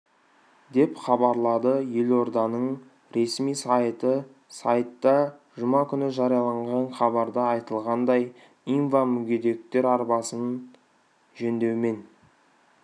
деп хабарлады елорданың ресми сайты сайтта жұма күні жарияланған хабарда айтылғандай инва мүгедектер арбасын жөндеумен